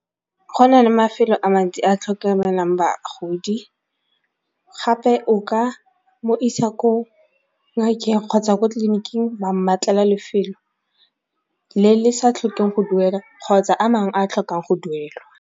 Go na le mafelo a mantsi a tlhokomelang bagodi gape o ka mo isa ko ngakeng kgotsa ko tleliniking wa mmatlela lefelo le le sa tlhokeng go duela kgotsa a mangwe a a tlhokang go duelwa.